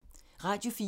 Radio 4